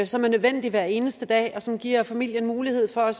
som er nødvendig hver eneste dag og som giver familien mulighed for